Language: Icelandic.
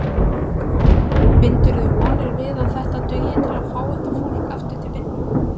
Bindurðu vonir við að þetta dugi til að fá þetta fólk aftur til vinnu?